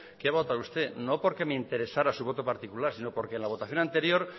qué votará usted no porque me interesara su voto particular sino porque en la votación anterior